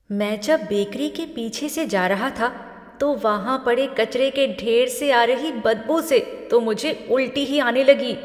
मैं जब बेकरी के पीछे से जा रहा था तो वहाँ पड़े कचरे के ढेर से आ रही बदबू से तो मुझे उलटी ही आने लगी।